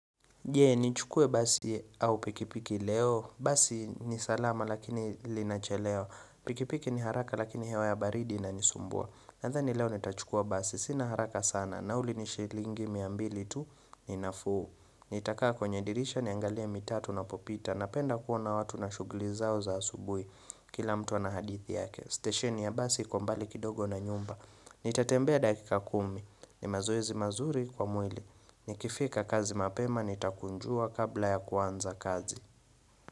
Jee, nichukue basi au pikipiki leo. Basi ni salama lakini linachelewa. Pikipiki ni haraka lakini hewa ya baridi inanisumbua. Nathani leo nitachukua basi. Sina haraka sana. Nauli ni shilingi mia mbili tu ni nafuu. Nitakaa kwenye dirisha niangalia mitaa tuna popita. Napenda kuona watu na shugli zao za asubui. Kila mtu ana hadithi yake. Stesheni ya basi iko mbali kidogo na nyumba Nitatembea dakika kumi ni mazoezi mazuri kwa mwili Nikifika kazi mapema Nitakunjua kabla ya kuanza kazi.